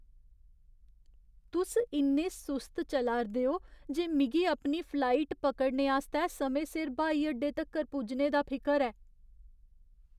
तुस इन्ने सुस्त चला 'रदे ओ जे मिगी अपनी फ्लाइट पकड़ने आस्तै समें सिर ब्हाई अड्डे तक्कर पुज्जने दा फिकर ऐ।